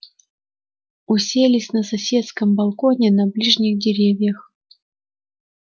уселись на соседском балконе на ближних деревьях